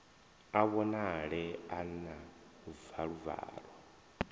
a vhonale a na valuvalu